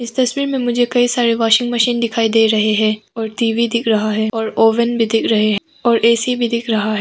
तस्वीर में मुझे कई सारे वाशिंग मशीन दिखाई दे रहे हैं और टी_वी दिख रहा है और ओवेन भी दिख रहे हैं और ऐसी भी दिख रहा है।